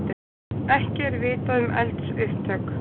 Ekki er vitað um eldsupptök